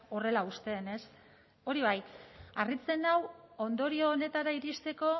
horrela uzten ez hori bai harritzen nau ondorio honetara iristeko